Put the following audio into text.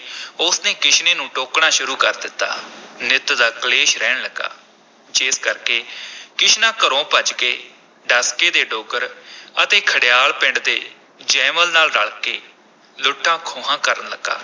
ਉਸ ਨੇ ਕਿਸ਼ਨੇ ਨੂੰ ਟੋਕਣਾ ਸ਼ੁਰੂ ਕਰ ਦਿੱਤਾ ਨਿੱਤ ਦਾ ਕਲੇਸ਼ ਰਹਿਣ ਲੱਗਾ, ਜਿਸ ਕਰਕੇ ਕਿਸ਼ਨਾ ਘਰੋਂ ਭੱਜ ਕੇ ਡਸਕੇ ਦੇ ਡੋਗਰ ਅਤੇ ਖਡਿਆਲ ਪਿੰਡ ਦੇ ਜੈਮਲ ਨਾਲ ਰਲ ਕੇ ਲੁੱਟਾਂ-ਖੋਹਾਂ ਕਰਨ ਲੱਗਾ।